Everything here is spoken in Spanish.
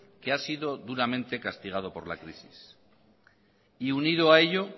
que ha sido duramente castigado por la crisis y unido a ello